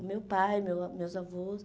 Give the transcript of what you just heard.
O meu pai, meu ah meus avôs.